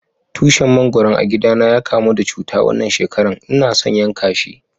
Tushin mangoron a gida na ya kamu da cuta wanan shekaran, n'na son yanka shi.